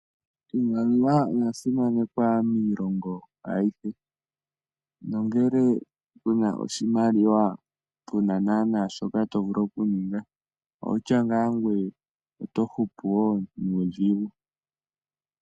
Iimaliwa oya simanekwa miilongo ayihe nongele kuna oshimaliwa kuna shoka tovulu okuninga outya ngaa ngoye otohupu nuudhigu.